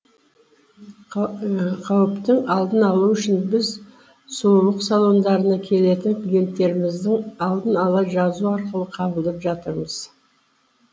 қауіптің алдын алу үшін біз сұлулық салондарына келетін клиенттерімізді алдын ала жазу арқылы қабылдап жатырмыз